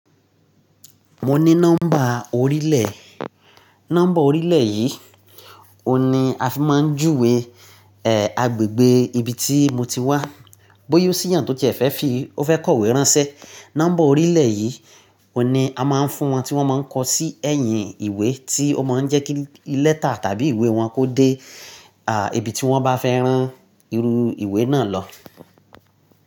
Mo ní nọ́mbà orílẹ̀. Nọ́mbà orílẹ̀ yìí, òun ni a fi máa ń júwe, eh, agbègbè ibi tí mo ti wá. Bóyá ó sì yan tó ti e fẹ́ fi, ó fẹ́ kọ ìwé ránṣẹ́, nọ́mbà orílẹ̀ yìí òun ni a máa ń fún wọn tí wọ́n máa ń kọ sí ẹ̀yìn ìwé tí ó máa ń jẹ́ kí lẹ́tà tàbí ìwé wọn kó dé, à, ibi tí wọ́n bá fẹ́ rán irú ìwé náà lọ.